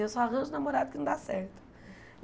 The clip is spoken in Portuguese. Eu só arranjo namorado que não dá certo.